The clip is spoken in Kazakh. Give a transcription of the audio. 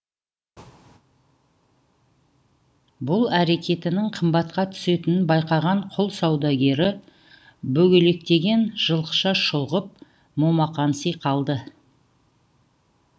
бұл әрекетінің қымбатқа түсетінін байқаған құл саудагері бөгелектеген жылқыша шұлғып момақанси қалды